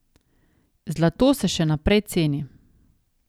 Zlato se še naprej ceni.